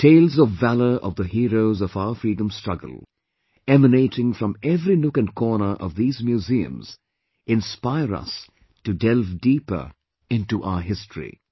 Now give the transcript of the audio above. Tales of valour of the heroes of our freedom struggle emanating from every nook & corner of these museums inspire us to delve deeper into our history